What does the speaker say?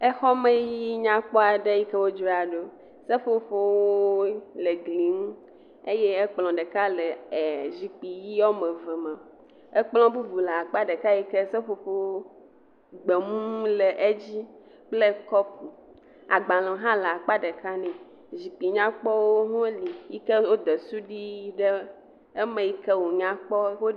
Exɔ me yi nyakpɔ aɖe yike wodzraɖo, seƒoƒo ʋɛ̃wo le gli ŋu, eye ekplɔ ɖeka le zikpui ʋɛ̃ woame eve me. Ekplɔ bubu le akpa ɖeka yike seƒoƒo gbemu le edzi kple kɔpu. Agbalẽwo hã le akpa ɖeka ne, zikpui nyakpɔwo hã woli yke wode suɖui ɖe eme yike wònyakpɔ wo…